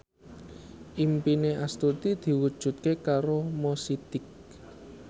impine Astuti diwujudke karo Mo Sidik